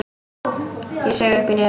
Ég saug upp í nefið.